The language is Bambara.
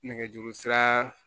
Nɛgɛjuru sira